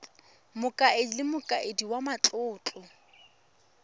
mokaedi le mokaedi wa matlotlo